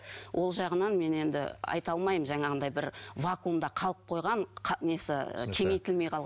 ол жағынан мен енді айта алмаймын жаңағындай бір вакуумда қалып қойған несі ы кеңейтілмей